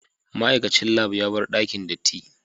Ma'aikacin lab ya bar dakin datti.